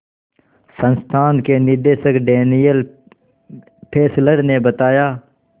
संस्थान के निदेशक डैनियल फेस्लर ने बताया